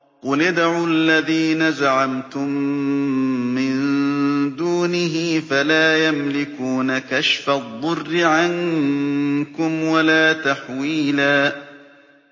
قُلِ ادْعُوا الَّذِينَ زَعَمْتُم مِّن دُونِهِ فَلَا يَمْلِكُونَ كَشْفَ الضُّرِّ عَنكُمْ وَلَا تَحْوِيلًا